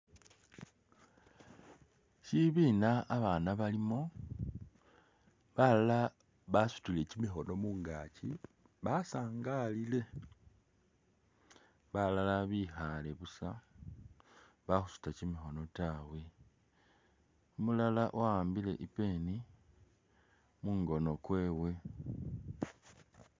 Shibina a'bana balimo, balala basutile kimikhoono mungachi basaangalile, balala bikhale busa bakhusuta kimikhoono taawe, umulala wa'ambile i'pen mungono kwewe'e